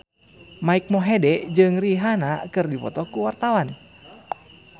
Mike Mohede jeung Rihanna keur dipoto ku wartawan